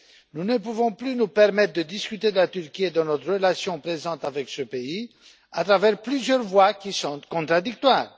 Nous ne pouvons plus nous permettre de discuter de la Turquie et de notre relation présente avec ce pays à travers plusieurs voix qui sont contradictoires.